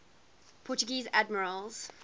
portuguese admirals